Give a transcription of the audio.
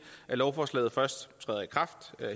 at lovforslaget først træder i kraft